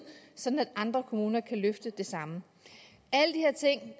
sådan at andre kommuner kan løfte det samme